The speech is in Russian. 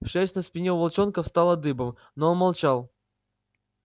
шерсть на спине у волчонка встала дыбом но он молчал